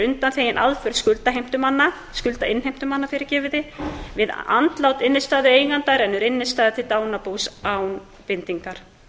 getur átt innstæða á húsnæðissparnaðarreikningi er undanþegin aðför skuldheimtumanna við andlát innstæðueiganda rennur innstæðan til dánarbúsins án bindingar